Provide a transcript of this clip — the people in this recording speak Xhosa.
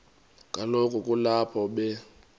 kaloku kulapho be